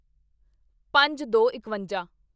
ਪੰਜਦੋਇਕਵੰਜਾ